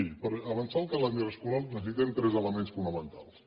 miri per avançar el calendari escolar necessitem tres elements fonamentals